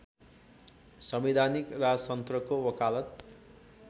संवैधानिक राजतन्त्रको वकालत